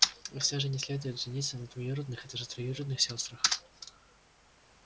и все же не следует жениться на двоюродных и даже троюродных сёстрах